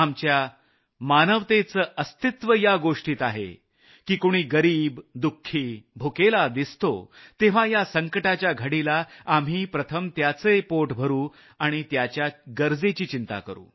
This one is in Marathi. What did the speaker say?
आपली माणुसकी यातच आहे की कुणी गरिब दुःखी उपाशी दिसतो तेव्हा या संकटाच्या घडीला आम्ही प्रथम त्याचे पोट भरू आणि त्याच्या गरजेची चिंता करू